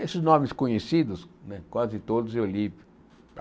Esses nomes conhecidos né, quase todos eu li.